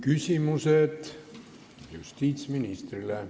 Küsimused justiitsministrile.